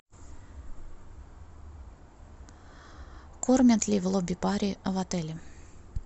кормят ли в лобби баре в отеле